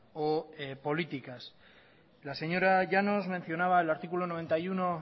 o políticas la señora llanos mencionaba el artículo noventa y uno